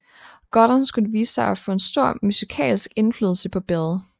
Gordon skulle vise sig at få stor musikalsk indflydelse på Bill